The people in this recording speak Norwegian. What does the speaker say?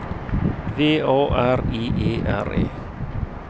V A R I E R E